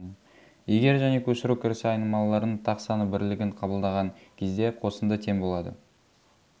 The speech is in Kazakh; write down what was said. егер және көшіру кірісі айнымалыларының тақ саны бірлігін қабылдаған кезде қосынды тең болады